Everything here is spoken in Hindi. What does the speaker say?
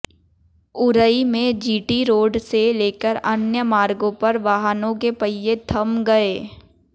उरई में जीटी रोड से लेकर अन्य मार्गों पर वाहनों के पहिए थम गए